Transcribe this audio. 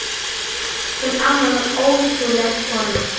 Hún amma var ótrúleg kona.